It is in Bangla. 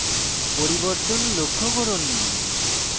পরিবর্তন লক্ষ্য করুন